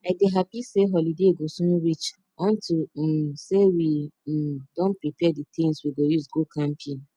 i dey happy say holiday go soon reach unto um say we um don prepare the things we go use go camping